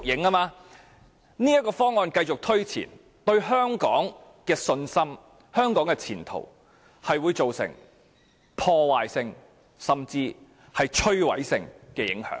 若這項方案繼續推前，會對香港市民的信心和香港的前途帶來破壞性甚至是摧毀性的影響。